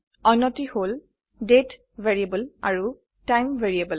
অন্যটি হল তাৰিখ আৰু সময়